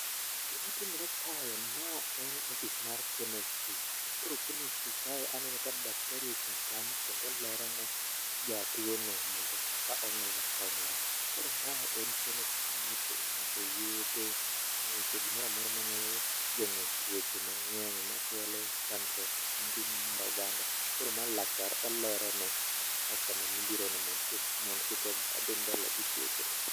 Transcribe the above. Gima timore kae ma en office mar Chemistry. Koro chemistry kae, aneno ka daktari ochung' kae kendo olero ne jatuono kaka onyalo konyore. Koro mae en chemistry miuse yedhe ,miuse gimoro amora manyalo geng'o tuoche mang'eny makelo chandruok e ngima mar oganda. Koro ma laktar olerone customer mobirono mondo kik odhi mbele gi tuochenego.